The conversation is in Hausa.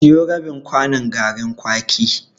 Siyo rabin kwanon garin kwaki.